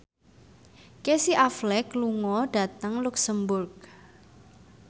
Casey Affleck lunga dhateng luxemburg